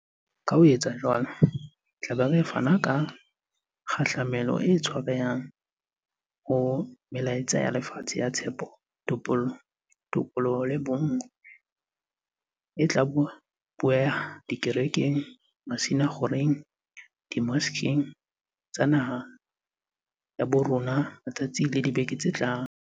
Ka ho etsa jwalo, re tla be re fana ka kgahlamelo e tshwarehang ho melaetsa ya lefatshe ya tshepo, topollo, tokoloho le bonngwe e tla bueha dikerekeng, masina kgokgeng, dimoskeng tsa naha ya bo rona matsatsing le dibekeng tse tlang.